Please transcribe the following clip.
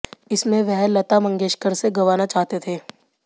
इसमें वह लता मंगेशकर से गवाना चाहते थे